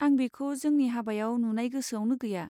आं बिखौ जोंनि हाबायाव नुनाय गोसोआवनो गैया।